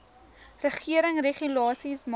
regering regulasies maak